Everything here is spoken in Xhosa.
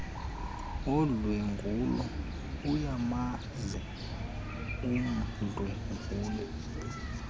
odlwengulo ayamazi umdlwenguli